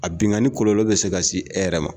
A binnkanni ni kɔlɔlɔ bɛ se ka se e yɛrɛ ma